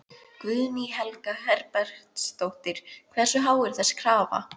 Guðný Helga Herbertsdóttir: Hversu há er þessi krafa?